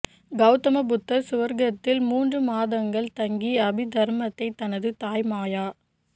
கெளதம புத்தர் சுவர்க்கத்தில் மூன்று மாதங்கள் தங்கி அபி தர்மத்தைத் தனது தாய் மாயா